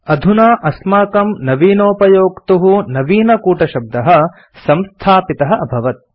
अधुना अस्माकं नवीनोपयोक्तुः नवीनकूटशब्दः संस्थापितः अभवत्